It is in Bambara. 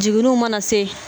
Jigiriw mana se